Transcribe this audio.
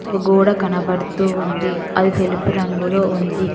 ఒక గోడ కనబడుతూ ఉంది అది తెలుపు రంగులో ఉంది.